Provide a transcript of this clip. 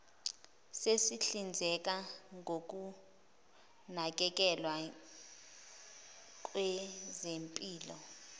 esihlinzeka ngokunakekelwa kwezempilo